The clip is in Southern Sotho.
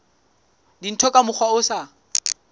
dintho ka mokgwa o sa